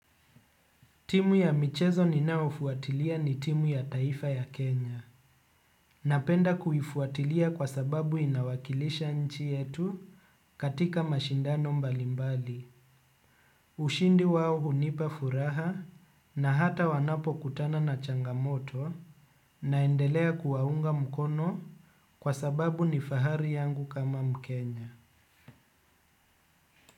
Timu ya michezo ninaofuatilia ni timu ya taifa ya Kenya. Napenda kuifuatilia sababu inawakilisha nchi yetu katika mashindano mbalimbali. Ushindi wao unipa furaha na hata wanapo kutana na changamoto naendelea kuwaunga mkono kwa sababu nifahari yangu kama mkenya.